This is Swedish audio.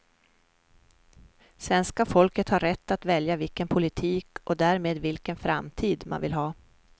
Svenska folket har rätt att välja vilken politik och därmed vilken framtid man vill ha.